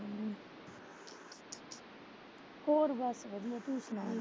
ਹੋਰ ਬੱਸ ਵਧੀਆ, ਤੁਹੀਂ ਸੁਣਾਉ?